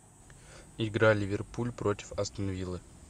игра ливерпуль против астон виллы